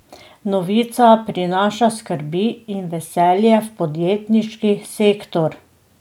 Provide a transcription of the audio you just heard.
Novica prinaša skrbi in veselje v podjetniški sektor.